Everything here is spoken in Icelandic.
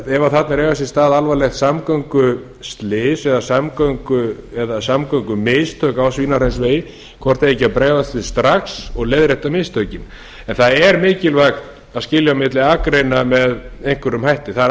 er að eiga sér stað alvarlegt samgönguslys eða samgöngumistök á svínahraunsvegi hvort það eigi ekki að bregðast við strax og leiðrétta mistökin en það er mikilvægt að skilja milli akreina með einhverjum hætti það er